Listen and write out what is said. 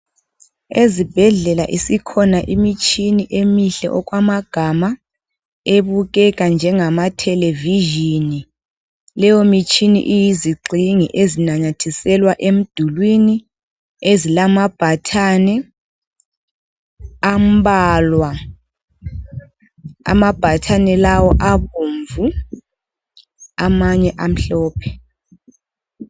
Ezibhedlela isikhona imitshini emihle okwama gama ebukeka njenga mathelevizhini leyo mitshina iyizigxingi ezinamathiselwa emdulwini ezilama bhathani ambalwa, amabhathani lawa abomvu amanye amhlophe.